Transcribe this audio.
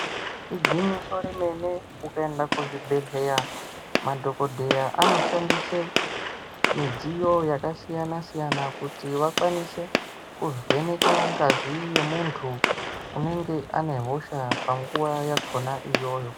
Igwinyiso remene ukaenda kuzvibhedhleya madhokodheya anoshandise midziyo yakasiyana siyana kuti vakwanise kuvheneka ngazi yemunthu unenge ane hosha panguwa iyoyo.